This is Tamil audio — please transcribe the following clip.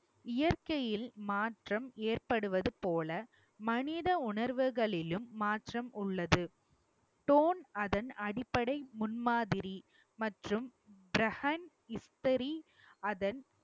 இயற்கையில் மாற்றம் ஏற்படுவது போல மனித உணர்வுகளிலும் மாற்றம் உள்ளது. அதன் அடிப்படை முன்மாதிரி மற்றும் ப்ரஹன் இஃப்தரி அதன்